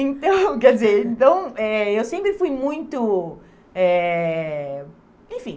Então, quer dizer, então eh eu sempre fui muito, eh enfim...